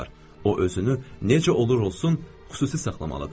O özünü necə olur-olsun xüsusi saxlamalıdır.